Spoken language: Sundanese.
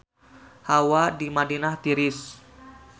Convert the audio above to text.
Hawa di Madinah tiris